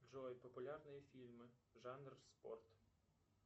джой популярные фильмы жанр спорт